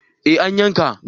Eh an yanka